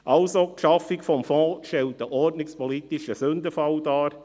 Also: Die Schaffung des Fonds stellt einen ordnungspolitischen Sündenfall dar.